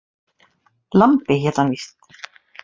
Lambi hét hann víst.